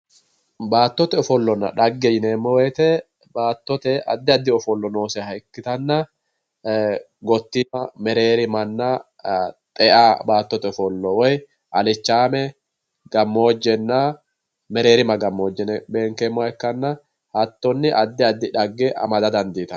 Baattote ofollonna dhagge yineemmo woyte baattote addi addi ofollo nooseha ikkittanna gotima mereerimanna xea baattote ofollo woyi alichame gamojenna mereerima gamoje yinne beenkeemmoha ikkanna hattoni addi addi dhagge amada dandiittano.